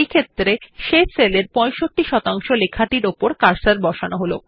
সুতরাং শেষ সেলের 65 লেখাটির পরে কার্সার বসান